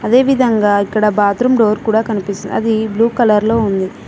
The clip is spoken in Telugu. అదేవిధంగా ఇక్కడ బాత్రూం డోర్ కూడా కనిపిస్తుంది అది బ్లూ కలర్ లో ఉంది.